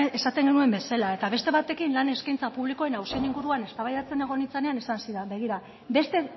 esaten genuen bezala eta beste batekin lan eskaintza publikoen auzien inguruan eztabaidatzen egon nintzenean esan zidan begira beste